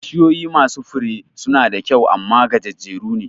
Bishiyoyi masu Fure suna da kyau amma gajejjeru ne